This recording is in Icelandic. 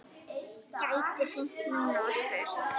Gæti hringt núna og spurt.